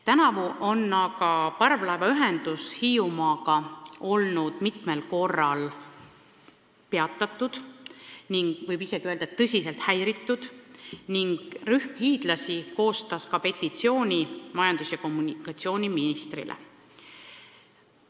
Tänavu on aga parvlaevaühendus Hiiumaaga olnud mitmel korral peatatud – võib isegi öelda, et tõsiselt häiritud – ning rühm hiidlasi on koostanud ka petitsiooni majandus- ja kommunikatsiooniministrile.